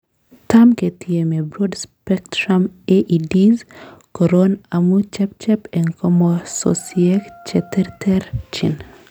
Tam ketieme Broad spectrum AEDs koron amun chepchep en kamososiek cheterterchin.